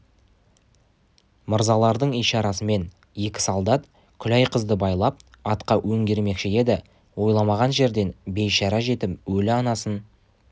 мырзалардың ишарасымен екі солдат күләй қызды байлап атқа өңгермекші еді ойламаған жерден бейшара жетім өлі анасын